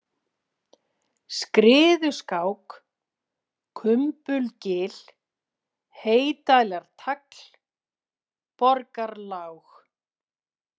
Skriðuskák, Kumbulgil, Heydælartagl, Borgarlág